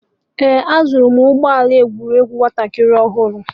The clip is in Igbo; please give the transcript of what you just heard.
Ee, azụrụ m ya ụgbọ ala egwuregwu ụmụaka ọhụrụ